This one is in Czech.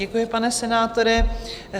Děkuji, pane senátore.